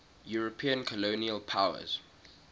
european colonial powers